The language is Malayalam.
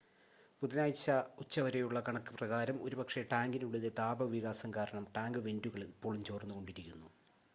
ബുധനാഴ്ച ഉച്ചവരെയുള്ള കണക്ക് പ്രകാരം ഒരുപക്ഷെ ടാങ്കിനുള്ളിലെ താപ വികാസം കാരണം ടാങ്ക് വെൻ്റുകൾ ഇപ്പോഴും ചോർന്നുകൊണ്ടിരിക്കുന്നു